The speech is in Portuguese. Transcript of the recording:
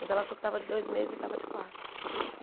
Mas ela achou que tava de dois meses e tava de quatro.